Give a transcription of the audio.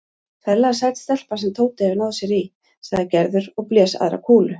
Ferlega sæt stelpa sem Tóti hefur náð sér í sagði Gerður og blés aðra kúlu.